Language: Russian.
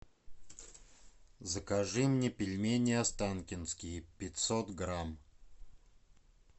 закажи мне пельмени останкинские пятьсот грамм